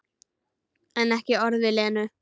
En ekki orð við Lenu.